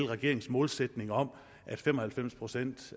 regeringens målsætning om at fem og halvfems procent